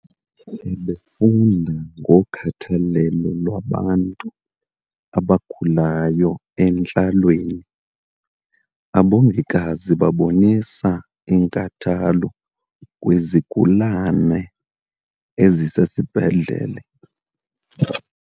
Ebefunda ngokhathalelo lwabantu abagulayo entlalweni. abongikazi babonisa inkathalo kwizigulana ezisesibhedlele